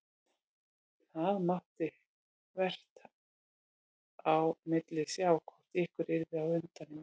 Það mátti vart á milli sjá hvort ykkar yrði á undan í mark.